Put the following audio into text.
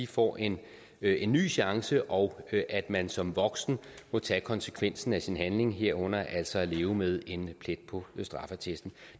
får en en ny chance og at man som voksen må tage konsekvensen af sin handling herunder altså at leve med en plet på straffeattesten